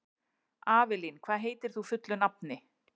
Avelín, hvað heitir þú fullu nafni?